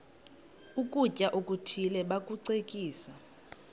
ukutya okuthile bakucekise